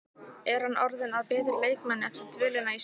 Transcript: Er hann orðinn að betri leikmanni eftir dvölina í Svíþjóð?